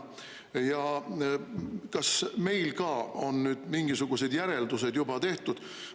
Ja kas meil ka on nüüd mingisugused järeldused juba tehtud?